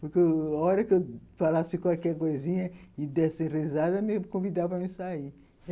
Porque a hora que eu falasse qualquer coisinha e desse risada, me convidavam a me sair.